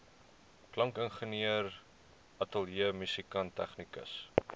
klankingenieur ateljeemusikant tegnikus